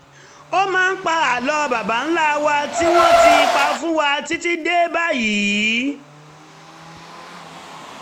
ó máa ń pa àlọ́ baba ńlá wa tí wọ́n ti pa fún wa títí dé báyìí